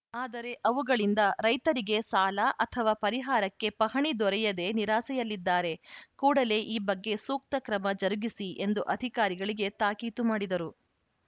ಆದರೆ ಅವುಗಳಿಂದ ರೈತರಿಗೆ ಸಾಲ ಅಥವಾ ಪರಿಹಾರಕ್ಕೆ ಪಹಣಿ ದೊರೆಯದೇ ನಿರಾಸೆಯಲ್ಲಿದ್ದಾರೆ ಕೂಡಲೇ ಈ ಬಗ್ಗೆ ಸೂಕ್ತ ಕ್ರಮ ಜರುಗಿಸಿ ಎಂದು ಅಧಿಕಾರಿಗಳಿಗೆ ತಾಕೀತು ಮಾಡಿದರು